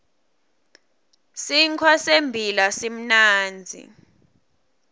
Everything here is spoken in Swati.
sinkhwa sembila simnandzi